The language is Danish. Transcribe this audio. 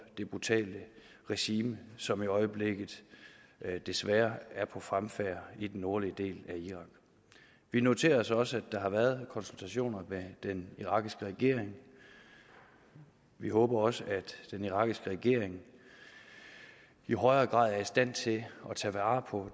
det brutale regime som i øjeblikket desværre er på fremfærd i den nordlige del af irak vi noterer os også at der har været konsultationer med den irakiske regering vi håber også at den irakiske regering i højere grad er i stand til at tage vare på